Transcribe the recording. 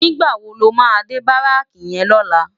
Nigbá wó ló má dé báráki yèn lòlá?